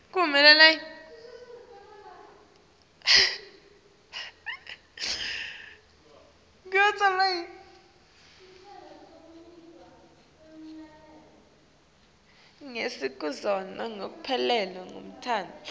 setinzuzo tekuphelelwa ngumsebenti